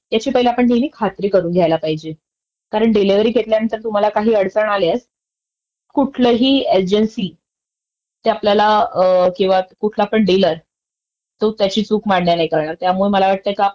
Delivery जर घ्यायला गेलो तर हे पण चेक करायला पाहिजे. आणि नेहमी आपल्याला ऍसेसरीज देखिल पाहायला पाहिजेत, का कुठल्या कुठल्या आलेल्या आहेत, कारण टूल किट आलेल आहे की नाहीये. तसंच फस्टएड बॉक्स